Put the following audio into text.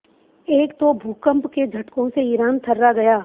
एक तो भूकंप के झटकों से ईरान थर्रा गया